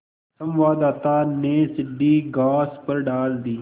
संवाददाता ने सीढ़ी घास पर डाल दी